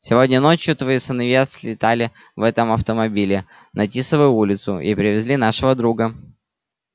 сегодня ночью твои сыновья слетали в этом автомобиле на тисовую улицу и привезли нашего друга